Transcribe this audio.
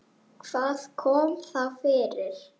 Hvað kom þá fyrir?